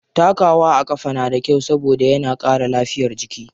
Takawa a ƙafa na da kyau saboda yana ƙara lafiyar jiki.